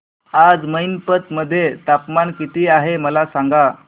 आज मैनपत मध्ये तापमान किती आहे मला सांगा